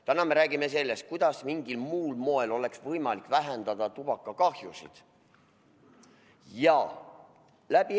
Täna me räägime sellest, kuidas mingil muul moel oleks võimalik vähendada tubaka põhjustatud kahjusid.